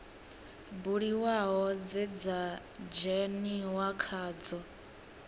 buliwaho dze dza dzheniwa khadzo